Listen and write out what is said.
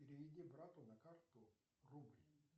переведи брату на карту рубль